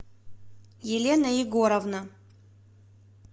елена егоровна